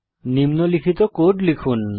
নিম্নলিখিত কোড লিখুন